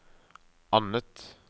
annet